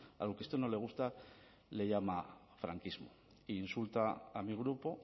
a lo que usted no le gusta le llama franquismo insulta a mi grupo